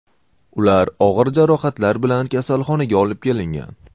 Ular og‘ir jarohatlar bilan kasalxonaga olib kelingan.